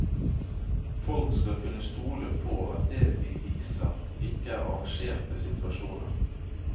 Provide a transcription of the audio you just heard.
Folk skal kunne stole på at det vi viser ikke er arrangerte situasjoner.